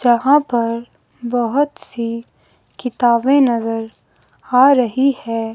यहां पर बहुत सी किताबें नजर आ रही है।